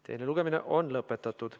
Teine lugemine on lõpetatud.